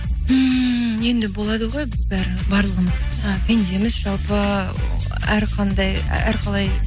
ммм енді болады ғой біз барлығымыз і пендеміз жалпы әрқандай әрқалай